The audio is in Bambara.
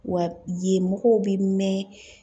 Wa ye mɔgɔw bɛ mɛn